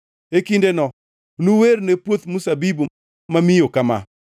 E kindeno: “Nuwerne puoth mzabibu mamiyo kama: